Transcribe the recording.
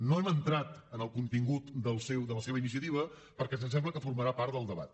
no hem entrat en el contingut de la seva iniciativa perquè ens sembla que formarà part del debat